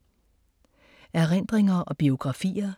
Erindringer og biografier